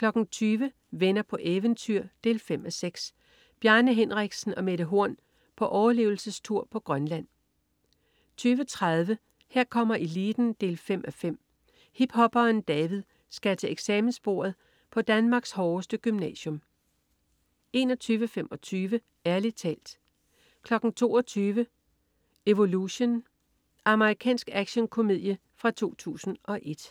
20.00 Venner på eventyr 5:6. Bjarne Henriksen og Mette Horn på overlevelsestur på Grønland 20.30 Her kommer eliten 5:5. Hiphopperen David skal til eksamensbordet på Danmarks hårdeste gymnasium 21.25 Ærlig talt 22.00 Evolution. Amerikansk actionkomedie fra 2001